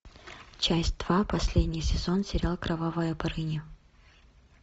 часть два последний сезон сериал кровавая барыня